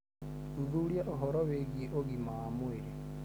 Thuthuria ũhoro wĩgiĩ ũgima wa mwĩrĩ.